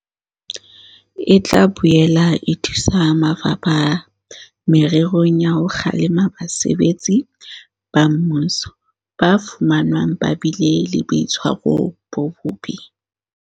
E tla boela e thusa mafapha mererong ya ho kgalema basebetsi ba mmuso ba fumanwang ba bile le boitshwaro bo bobe.